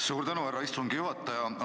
Suur tänu, härra istungi juhataja!